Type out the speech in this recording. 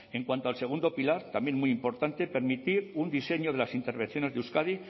en cuanto al segundo pilar también muy importante permitir un diseño de las intervenciones de euskadi